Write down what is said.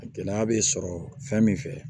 Gɛlɛya bɛ sɔrɔ fɛn min fɛ